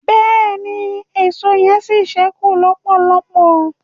bẹẹni, Èṣó yen sí sẹku lọpọlọpọ